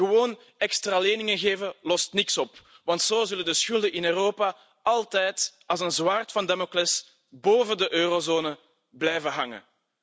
Gewoon extra leningen geven lost niks op, want zo zullen de schulden in Europa altijd als een zwaard van Damocles boven de eurozone blijven hangen.